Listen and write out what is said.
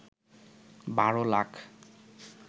১২ lakh